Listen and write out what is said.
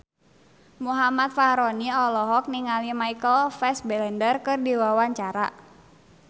Muhammad Fachroni olohok ningali Michael Fassbender keur diwawancara